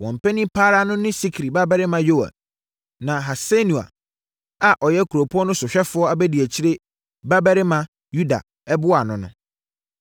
Wɔn panin pa ara no ne Sikri babarima Yoɛl na Hasenua, a ɔyɛ kuropɔn no sohwɛfoɔ abadiakyire babarima Yuda boaa no.